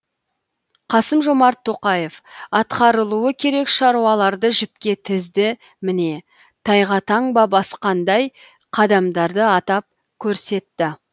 қасым жомарт тоқаев атқарылуы керек шаруаларды жіпке тізді міне тайға таңба басқандай қадамдарды атап көрсетті